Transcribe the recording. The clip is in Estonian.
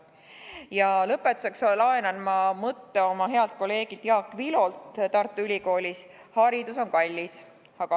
Ja lõpetuseks laenan ma mõtte oma healt kolleegilt Tartu Ülikoolis, Jaak Vilolt.